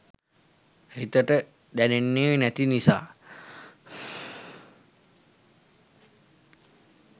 හිතට දැනෙන්නේ නැති නිසා.